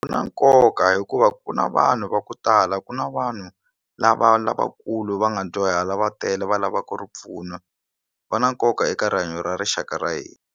Swi na nkoka hikuva ku na vanhu va ku tala ku na vanhu lava lavakulu va nga dyuhala va tele va lavaka ripfuno va na nkoka eka rihanyo ra rixaka ra hina.